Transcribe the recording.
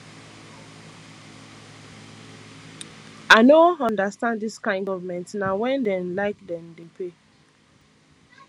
i no understand dis kain government na wen dem like dem dey pay